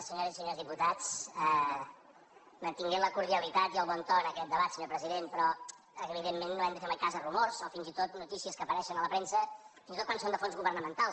senyores i senyors diputats mantenint la cordialitat i el bon to en aquest debat senyor president però evidentment no hem de fer mai cas de rumors o fins i tot de notícies que apareixen a la premsa fins i tot quan són de fons governamentals